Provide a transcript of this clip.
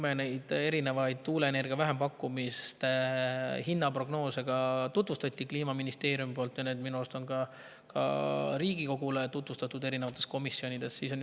Meile tutvustas erinevaid tuuleenergia vähempakkumiste hinnaprognoose Kliimaministeerium ja minu arust on neid ka Riigikogule eri komisjonides tutvustatud.